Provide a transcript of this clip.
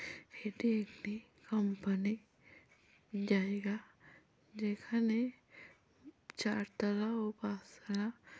এটি একটি কোম্পানি জায়গা যেখানে চারতালা ও পাঁচতলা।